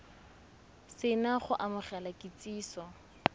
se na go amogela kitsiso